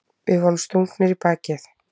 Við vorum stungnir í bakið.